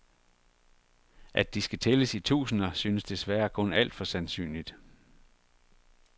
At de skal tælles i tusinder synes desværre kun alt for sandsynligt.